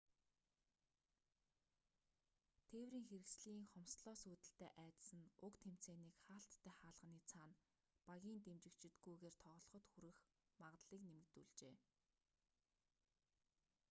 тээврийн хэрэгслийн хомсдлоос үүдэлтэй айдас нь уг тэмцээнийг хаалттай хаалганы цаана багийн дэмжигчидгүйгээр тоглоход хүрэх магадлалыг нэмэгдүүлжээ